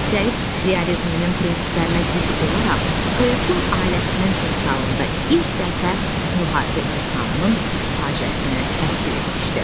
Sosialist realizminin prinsiplərinə zidd olaraq Totun ailəsinin timsalında ilk dəfə müharibə insanının faciəsini təsvir etmişdi.